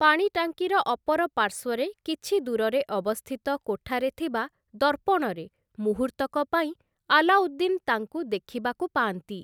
ପାଣି ଟାଙ୍କିର ଅପର ପାର୍ଶ୍ୱରେ କିଛି ଦୂରରେ ଅବସ୍ଥିତ କୋଠାରେ ଥିବା ଦର୍ପଣରେ ମୁହୂର୍ତ୍ତକ ପାଇଁ ଆଲ୍ଲାଉଦ୍ଦିନ୍‌ ତାଙ୍କୁ ଦେଖିବାକୁ ପାଆନ୍ତି ।